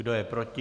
Kdo je proti?